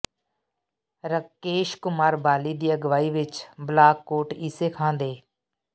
ਰਾਕੇਸ਼ ਕੁਮਾਰ ਬਾਲੀ ਦੀ ਅਗਵਾਈ ਵਿਚ ਬਲਾਕ ਕੋਟ ਈਸੇ ਖਾਂ ਦੇ